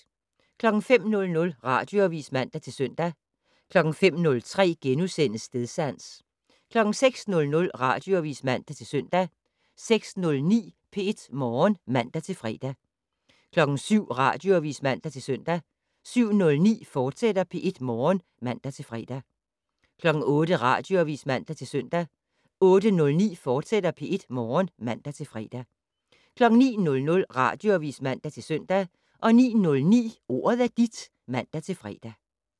05:00: Radioavis (man-søn) 05:03: Stedsans * 06:00: Radioavis (man-søn) 06:09: P1 Morgen (man-fre) 07:00: Radioavis (man-søn) 07:09: P1 Morgen, fortsat (man-fre) 08:00: Radioavis (man-søn) 08:09: P1 Morgen, fortsat (man-fre) 09:00: Radioavis (man-søn) 09:09: Ordet er dit (man-fre)